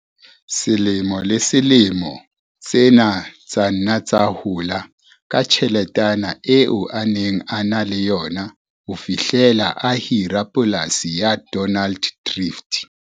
Selemo le selemo tsena tsa nna tsa hola ka tjheletana eo a neng a na le yona ho fihlela a hira Polasi ya Donald Drift.